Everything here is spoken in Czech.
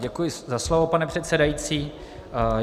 Děkuji za slovo, pane předsedající.